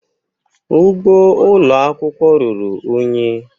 Ugbo ụlọ akwụkwọ ruru unyi.